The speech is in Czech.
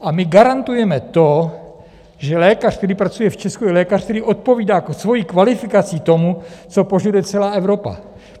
A my garantujeme to, že lékař, který pracuje v Česku, je lékař, který odpovídá svou kvalifikací tomu, co požaduje celá Evropa.